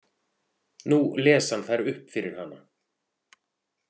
Nú les hann þær upp fyrir hana.